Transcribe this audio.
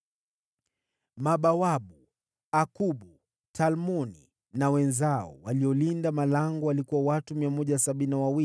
Mabawabu: Akubu, Talmoni na wenzao, waliolinda malango: watu 172.